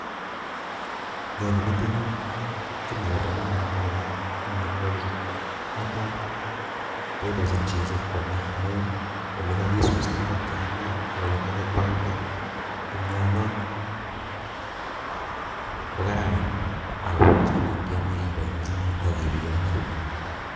Nyone metinyun kit nekaran nia ndokeer amitwogichu, netai boiboenyin chi sikwomee amun ole kakisustaa ingokiani, ak ole kakikwang'nda kimioni ko kararan, ako chito iniome iboiboenyini akibionyii